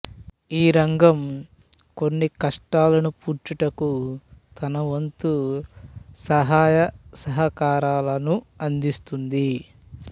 ఈ రంగం కొన్ని నష్టాలను పూడ్చుటకు తనవంతు సహాయసహకారాలను అందిస్తుంది